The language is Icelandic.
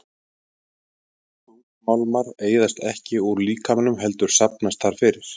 Þungmálmar eyðast ekki úr líkamanum heldur safnast þar fyrir.